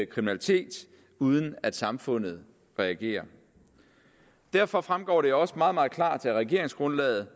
kriminalitet uden at samfundet reagerer derfor fremgår det også meget meget klart af regeringsgrundlaget